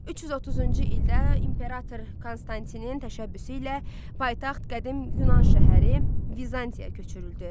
330-cu ildə imperator Konstantinin təşəbbüsü ilə paytaxt qədim Yunan şəhəri Bizansiya köçürüldü.